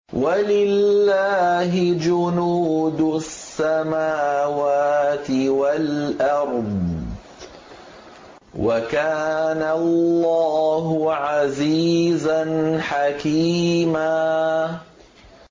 وَلِلَّهِ جُنُودُ السَّمَاوَاتِ وَالْأَرْضِ ۚ وَكَانَ اللَّهُ عَزِيزًا حَكِيمًا